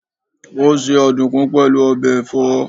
Ó se ọ̀dùkún pẹ̀lú ọbẹ̀ ẹ̀fọ́